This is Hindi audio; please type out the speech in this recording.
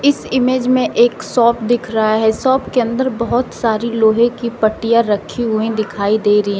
इस इमेज में एक शॉप दिख रहा है शॉप के अंदर बहोत सारी लोहे की पट्टियाँ रखी हुई दिखाई दे रही हैं।